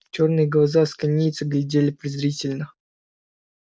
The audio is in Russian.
чёрные глаза асконийца глядели презрительно